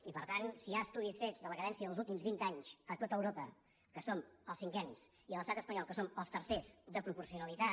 i per tant si hi ha estudis fets de la cadència dels últims vint anys a tot europa que som els cinquens i a l’estat espanyol que som els tercers de proporcionalitat